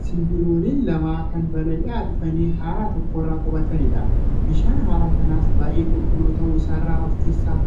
Simbirrooleen lama kan balali'aa dhufanii hara tokkorra qubatanidha. Bishaan hara kanaas baay'ee qulqulluu ta'uu isaarraa of keessaan